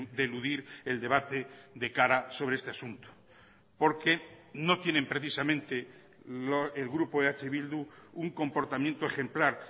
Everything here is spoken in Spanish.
de eludir el debate de cara sobre este asunto porque no tienen precisamente el grupo eh bildu un comportamiento ejemplar